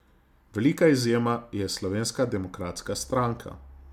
Velika izjema je Slovenska demokratska stranka.